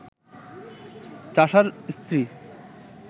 চাষার স্ত্রী